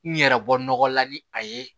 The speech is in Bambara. N yɛrɛ bɔ nɔgɔla ni a ye